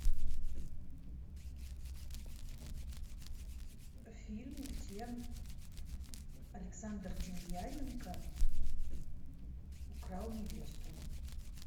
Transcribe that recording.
фильм где александр демьяненко украл невесту